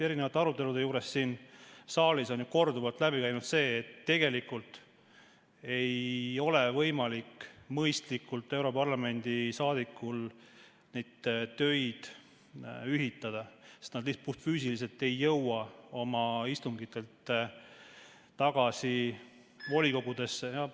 Erinevates aruteludes siin saalis on korduvalt läbi käinud see, et tegelikult ei ole võimalik europarlamendi saadikutel mõistlikult neid töid ühitada, sest nad lihtsalt puhtfüüsiliselt ei jõua nendelt istungitelt volikogudesse.